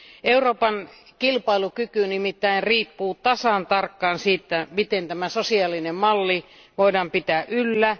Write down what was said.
Euroopan kilpailukyky nimittäin riippuu tasan tarkkaan siitä, miten sosiaalinen malli voidaan pitää yllä.